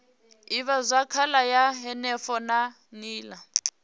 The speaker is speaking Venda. ivhazwakale ya henefho na nila